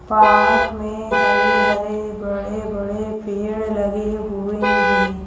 Park में हरे हरे बड़े बड़े पेड़ लगे हुए हैं।